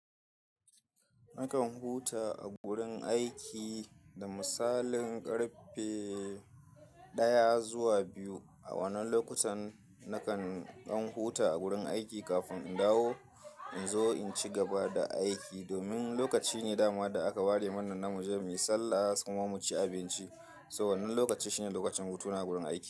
Nakan huta a gurin aiki da misalin karfe daya zuwa biyu. A wannan lokutan nakan ɗan huta a gurin aiki kafin in dawo in zo in ci gaba da aiki. Domin lokaci ne dama da aka ware mana namu je muyi sallah kuma mu ci abinci. To wannan lokaci shine lokacin hutu na a gurin aiki.